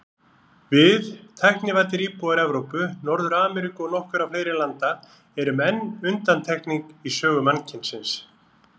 Við, tæknivæddir íbúar Evrópu, Norður-Ameríku og nokkurra fleiri landa, erum enn undantekning í sögu mannkynsins.